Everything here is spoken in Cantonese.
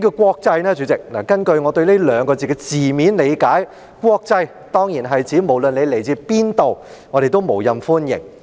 根據我對"國際"這兩字的字面理解，"國際"當然是指無論你來自何處，我們都無任歡迎。